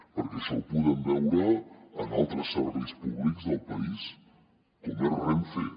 perquè això ho podem veure en altres serveis públics del país com és renfe